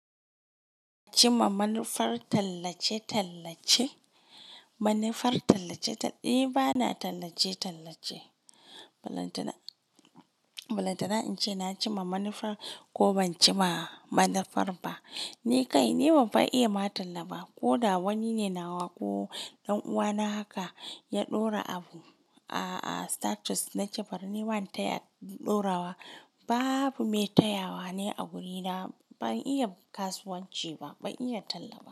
Cimma manufar tallace-tallace? Manufar tallace-tallace? Eh bana tallace-tallace. Balantana, balantana in ce na ci ma manufar ko ban ci ma manufar ba. Ni kai ni banfa iya ma talla ba. Ko da wani ne na wako, ɗan'uwana haka ya ɗora abu, a'a status na ce bari ni ba ni taya ɗorawa. Babu mai tayawa ne a wurina. Ban iya kasuwanci ba, ban iya talla ba.